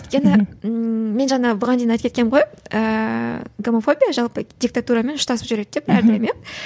өйткені мен жаңа бұған дейін айтып кеткенмін ғой ііі гомофобия жалпы диктатурамен ұштасып жүреді деп әрдайым иә